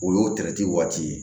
O y'o waati ye